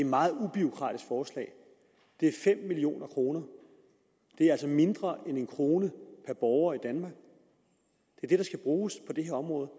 meget ubureaukratisk forslag det er fem million kroner det er altså mindre end en kroner per borger i danmark der skal bruges på det her område